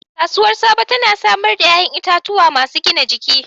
Kasuwar Sabo tana samar da 'ƴa'ƴan itatuwa masu gina jiki.